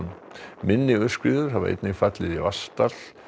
minni aurskriður hafa einnig fallið í Vatnsdal